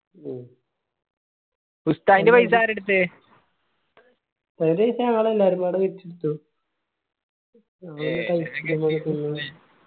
മ്മ്